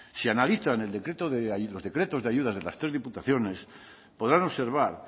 si analizan los decretos de ayuda de las tres diputaciones podrán observar